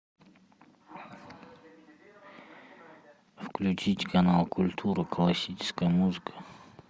включить канал культура классическая музыка